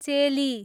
चेली